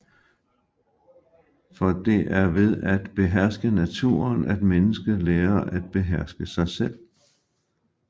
For det er ved at beherske naturen at mennesket lærer at beherske sig selv